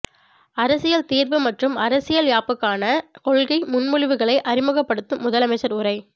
அரசியல் தீர்வு மற்றும் அரசியல் யாப்புக்கான கொள்கை முன்மொழிவுகளை அறிமுகப்படுத்தும் முதலமைச்சர் உரை